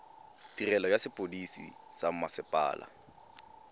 tirelo ya sepodisi sa mmasepala